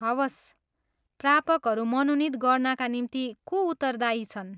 हवस्, प्रापकहरू मनोनित गर्नाका निम्ति को उत्तरदायी छन्?